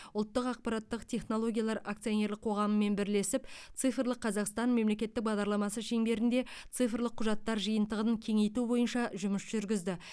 ұлттық ақпараттық технологиялар акционерлік қоғамымен бірлесіп цифрлық қазақстан мемлекеттік бағдарламасы шеңберінде цифрлық құжаттар жиынтығын кеңейту бойынша жұмыс жүргізді